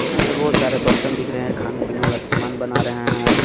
यहां पे बहोत सारे बर्तन दिख रहे हैं खाने पीने वाला समान बना रहे हैं.